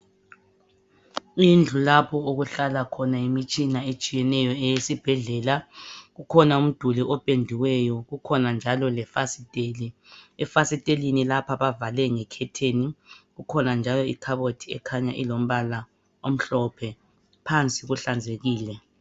Indlu lapho okuhlala khona imitshina etshiyeneyo eyesibhedlela kukhona umduli opendiweyo kukhona njalo lefasiteli efasiteleni lapha bavale nge curtain kukhona njalo ikhabothi ekhanya ilombala omhlophe phansi kuhlanzekile.